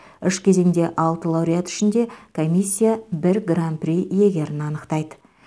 үш кезеңде алты лауреат ішінде комиссия бір гран при иегерін анықтайды